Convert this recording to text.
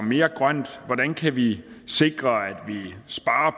mere grønt hvordan kan vi sikre